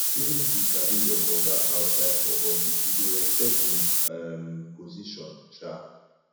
even if you sabi your oga outside for office you go respect im um position um